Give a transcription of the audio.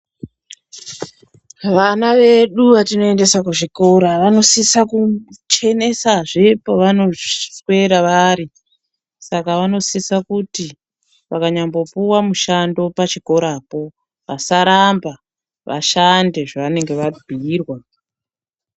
Vana vedu vatinoendese kuzvikora, vanosisa kuchenesazve pevanoswera vari. Saka vanosisa kuti vakanyambopuwa mushando pachikorapo vasaramba, vashande zvevanonga vabhuirwa.